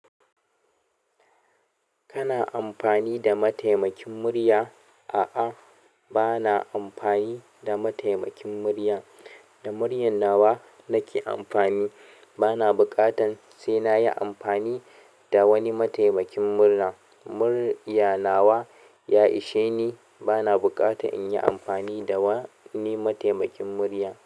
Kana amfani da mataimakin murya? Aa bana amfani da mataimakin murya da muryan nawa nake amfani. Bana buƙatan sai na yi amfani da wani mataimakin murna. Muryan nawa ya isheni. Bana buƙata in yi amfani da wani mataimakin murya.